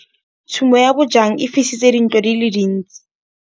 Tshumô ya bojang e fisitse dintlo di le dintsi.